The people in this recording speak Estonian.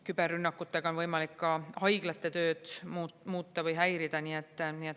Küberrünnakutega on võimalik ka haiglate tööd muuta või häirida.